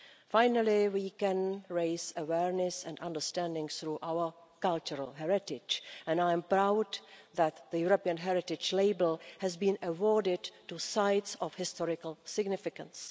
Finally, we can raise awareness and understanding through our cultural heritage, and I am proud that the European heritage label has been awarded to sites of historical significance.